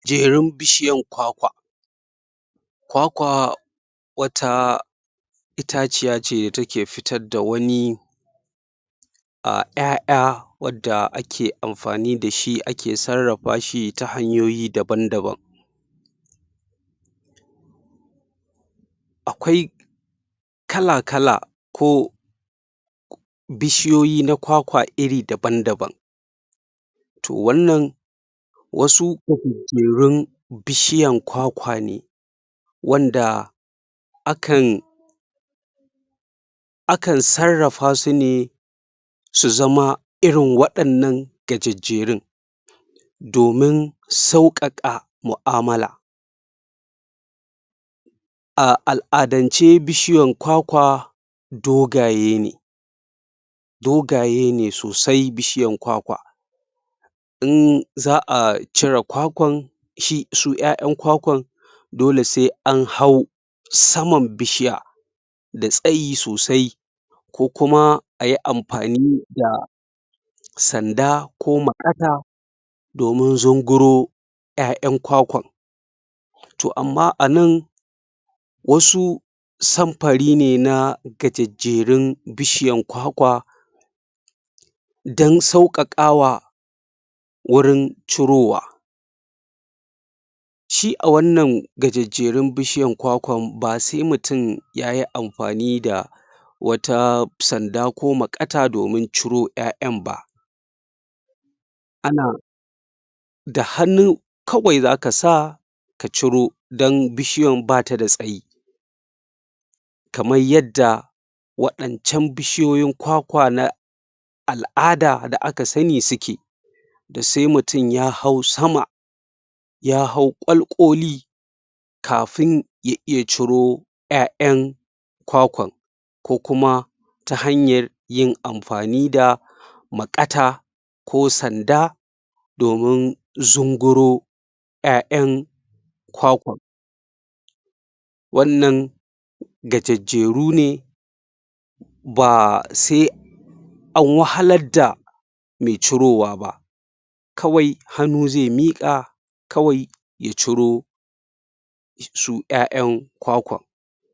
Jerun bishiyan kwakwa kwakwaa wataa itaciya ce da take fitar da wani ƴaƴa wanda ake amfani dashi ake sarrafa fashi ta hanyoyi daban-daban akwai kala-kala ko bishiyoyi na kwakwa iri daban-daban wannan wasu gajejjerun bishiyan kwakwa ne wanda akan akan sarrafa su ne su zama irin waɗannan gajejjerun domin sauƙaƙa mu'amala a al'adance bishiyan kwakwa dogaye ne dogaye ne sosai bishiyan kwakwa in za'a cire kwakwan shi su ƴaƴan kwakwan dole sai an hau saman bishiya da tsayi sosai ko kuma ayi amfani da sanda ko maƙata domin zunguro ƴaƴan kwakwan toh amma anan wasu samfari ne na gajejjerun bishiyan kwakwa dan sauƙaƙawa wurin cirowa shi a wannan gajejjerun bishiyan kwakwan ba sai mutum yayi amfani da wata sanda ko maƙata domin ciro ƴaƴan ba ana da hannu kawai zaka sa ka ciro dan bishiyan bata tsayi kaman yadda waɗancan bishiyoyin kwakwa na al'ada da aka sanni suke sai mutum ya hau sama ya hau ƙwalƙoli kafin ya iya ciro ƴaƴan kwakwan ko kuma ta hanyar yin amfani da maƙata ko sanda domin zunguro ƴaƴan kwakwan wannan gajejjeru ne baa sai an wahalar da mai cirowa ba kawai hannu zai miƙa kawai ya ciro su ƴaƴan kwakwan